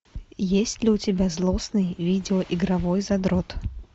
есть ли у тебя злостный видеоигровой задрот